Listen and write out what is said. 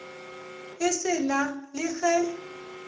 e se na le ge